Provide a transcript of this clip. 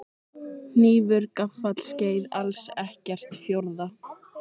Hnífur gaffall skeið alls ekkert fjórða?